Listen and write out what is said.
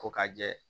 Ko ka jɛ